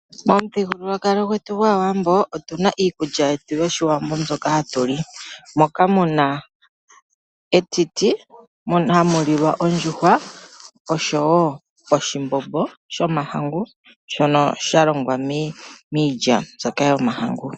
Momuthigululwakalo gwetu gwaawambo otuna iikulya yetu yoshiwambo, mbyoka hatu li. Moka muna etiti, hamu lilwa ekaka, oshowo oshimbombo shomahangu, shono shalongwa millya mbyoka yomahangu.